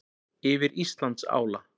Yfir Íslandsála.